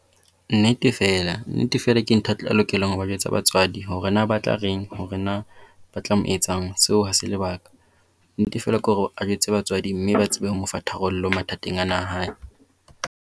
Nnete feela. Nnete feela ke ntho a lokelang ho ba jwetsa batswadi. Hore na ba tla reng hore na ba tla mo etsang, seo ha se lebaka. Nnete feela ke hore a jwetse batswadi mme ba tsebe ho mo fa tharollo mathateng ana a hae.